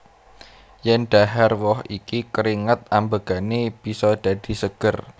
Yèn dhahar woh iki keringat ambegane bisa dadi seger